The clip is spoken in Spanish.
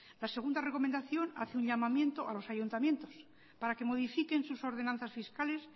la segunda recomendación hace un llamamiento a los ayuntamientos para que modifiquen sus ordenanzas fiscales